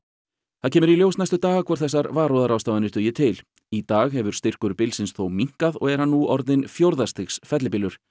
það kemur í ljós næstu daga hvort þessar varúðarráðstafanir dugi til í dag hefur styrkur bylsins þó minnkað og er hann nú orðinn fjórða stigs fellibylur